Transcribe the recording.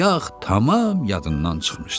Yağ tamam yadından çıxmışdı.